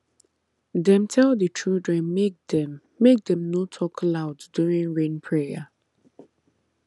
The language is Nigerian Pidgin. dem tell the children make dem make dem no talk loud during rain prayer